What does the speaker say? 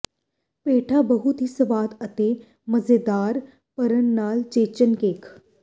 ਪੇਠਾ ਬਹੁਤ ਹੀ ਸਵਾਦ ਅਤੇ ਮਜ਼ੇਦਾਰ ਭਰਨ ਨਾਲ ਚੇਚਨ ਕੇਕ